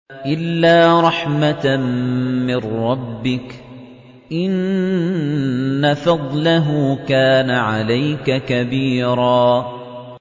إِلَّا رَحْمَةً مِّن رَّبِّكَ ۚ إِنَّ فَضْلَهُ كَانَ عَلَيْكَ كَبِيرًا